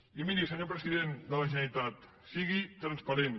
i miri senyor president de la generalitat sigui transparent